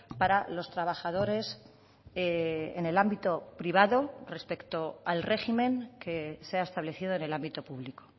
para los trabajadores en el ámbito privado respecto al régimen que se ha establecido en el ámbito público